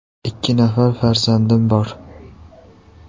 Ikki nafar farzandim bor.